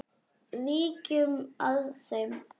Víkjum að þeim.